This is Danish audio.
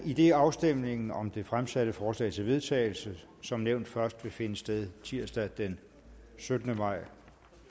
idet afstemningen om det fremsatte forslag til vedtagelse som nævnt først vil finde sted tirsdag den syttende maj